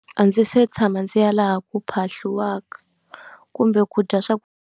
A ndzi se tshama ndzi ya laha ku phahliwaka kumbe ku dya